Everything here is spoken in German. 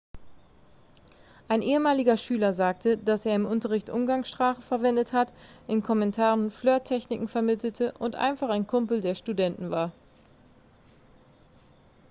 ein ehemaliger schüler sagte dass er im unterricht umgangssprache verwendet hat in kommentaren flirttechniken vermittelte und einfach ein kumpel der studenten war